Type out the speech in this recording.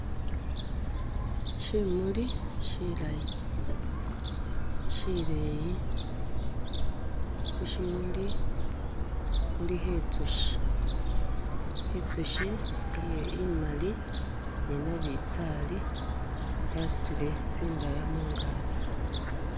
Shimuli shilayi, shileyi khushimuli khulikho itsushi, itsushi iye imali ni nabitsali yasutile tsi ndaya mungaki.